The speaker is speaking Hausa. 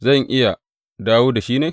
Zan iya dawo da shi ne?